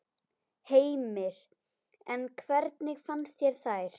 Heimir: En hvernig fannst þér þær?